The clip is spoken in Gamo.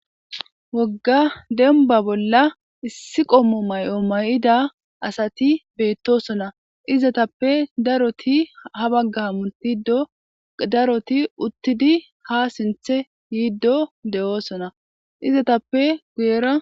Wogga dembba bolla issi qommo mayi'o mayi'ida asati beettosona. Izetappe daroti ha bagga hamutiddo daroti uttidi haa sinththe yiiddo de'osona. Izetappe guyera..